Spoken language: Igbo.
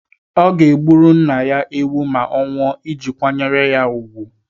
Ọ ga-egburu nna ya ewu ma ọ nwụọ iji kwanyere ya úgwù.